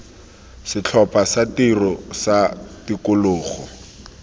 setlhopha sa tiro sa tikologo